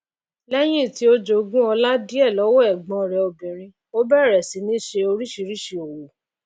léyìn tí ó jogún ọlá díè lówó ègbón rè obìrin ó bèrè sí ní se orísìsísì òwò